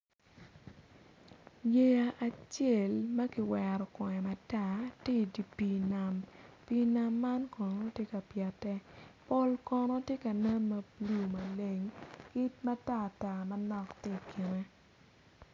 Yeya acel ma kiwero kome matar tye idi pii nam pii nam man kono tye ka pyete pol kono tye ka nen ma bulu maleng ki matar tar manok tye ikene.